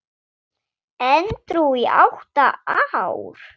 Edrú í átta ár!